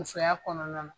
Musoya kɔnɔna na